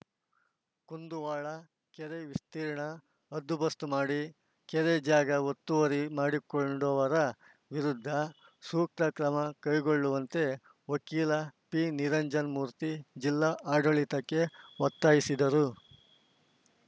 ಕುಂದುವಾಡ ಕೆರೆ ವಿಸ್ತೀರ್ಣ ಹದ್ದುಬಸ್ತು ಮಾಡಿ ಕೆರೆ ಜಾಗ ಒತ್ತುವರಿ ಮಾಡಿಕೊಂಡವರ ವಿರುದ್ಧ ಸೂಕ್ತ ಕ್ರಮ ಕೈಗೊಳ್ಳುವಂತೆ ವಕೀಲ ಪಿನಿರಂಜನ ಮೂರ್ತಿ ಜಿಲ್ಲಾ ಆಡಳಿತಕ್ಕೆ ಒತ್ತಾಯಿಸಿದರು